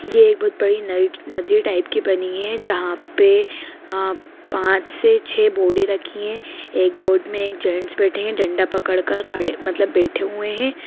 ये बहोत बड़ी नद नदी टाइप की बनी हैं जहाँ पे पाँच से छै बोड़े रखी हैं | एक बॉड में एक जेंट्स बैठे हैं डंडा पकड़ कर खड़े मतलब बैठे हुए हैं।